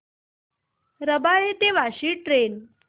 रबाळे ते वाशी ट्रेन